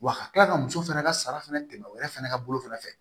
Wa ka tila ka muso fɛnɛ ka sara fɛnɛ tɛmɛ o yɛrɛ fɛnɛ ka bolo fana fɛ